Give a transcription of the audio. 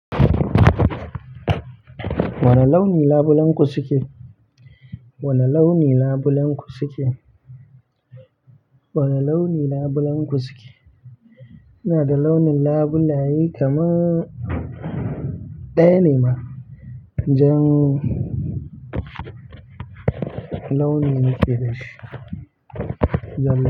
Wane launin labulenku suke? Wane launin labulenku suke? Wane launin labulenku suke? Ina da launin labulaye kamar ɗaya ne ma, jan launi nake dashi. Jan labulai.